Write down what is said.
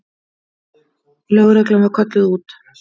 Lögreglan var kölluð út.